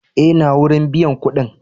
Eh, n'na wurin biyan kuɗi.